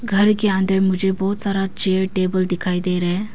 घर के अंदर में मुझे बहोत सारा चेयर टेबल दिखाई दे रहा है।